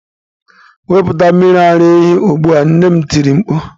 Wepụta mmiri ara ehi ugbu a! nne m tiri mkpu.